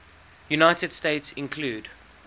united states include